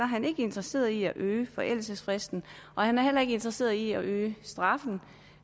han ikke interesseret i at øge forældelsesfristen og han er heller ikke interesseret i at øge straffen